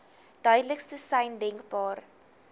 duidelikste sein denkbaar